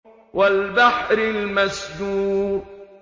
وَالْبَحْرِ الْمَسْجُورِ